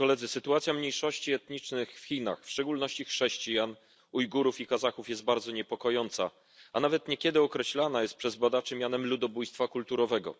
Sytuacja mniejszości etnicznych w Chinach, w szczególności chrześcijan, Ujgurów i Kazachów, jest bardzo niepokojąca, a nawet niekiedy określana jest przez badaczy mianem ludobójstwa kulturowego.